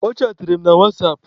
Ọ chaatịrị m na wasapụ.